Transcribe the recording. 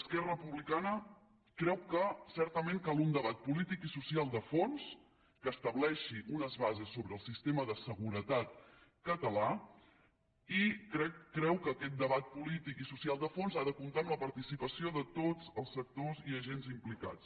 esquerra republicana creu que certament cal un debat polític i social de fons que estableixi unes bases sobre el sistema de seguretat català i creu que aquest debat polític i social de fons ha de comptar amb la participació de tots els sectors i agents implicats